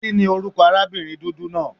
Kíni orúkọ arábìnrin dúdú náà?